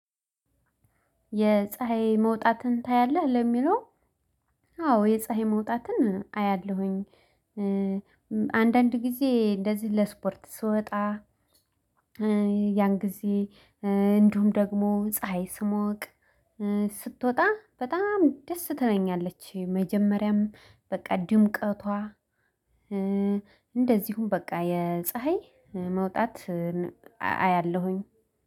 የፀሀይ መውጣትን ታያለህ ለሚለው? አዎ የፀሀይ መውጣትን አያለሁኝ። አንዳንድ ጊዜ እንደዚህ ለስፖርት ስወጣ። ያን ጊዜ እንደውም ደግሞ ፀሀይ ስሞቅ ስትወጣ በጣም ደስ ትለኛለች። መጀመሪያም በቃ ድምቀቷ እንደዚሁም በቃ የፀሀይ መውጣት አያለሁኝ